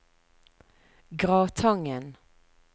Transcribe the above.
Gratangen